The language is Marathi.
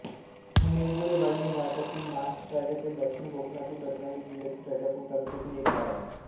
मिरगुळेवाडी हे भारतातील महाराष्ट्र राज्यातील दक्षिण कोकणातील रत्नागिरी जिल्ह्यातील राजापूर तालुक्यातील एक गाव आहे